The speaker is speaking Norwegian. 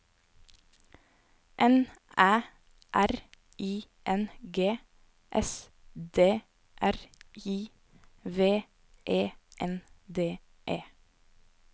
N Æ R I N G S D R I V E N D E